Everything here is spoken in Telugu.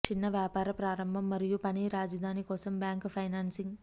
చిన్న వ్యాపార ప్రారంభం మరియు పని రాజధాని కోసం బ్యాంకు ఫైనాన్సింగ్